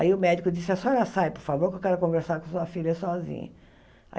Aí o médico disse, a senhora sai, por favor, que eu quero conversar com sua filha sozinha.